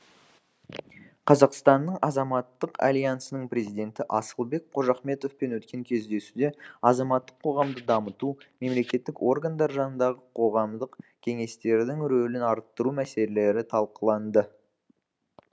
қазақстанның азаматтық альянсының президенті асылбек қожахметовпен өткен кездесуде азаматтық қоғамды дамыту мемлекеттік органдар жанындағы қоғамдық кеңестердің рөлін арттыру мәселелері талқыланды